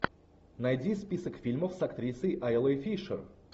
найди список фильмов с актрисой айлой фишер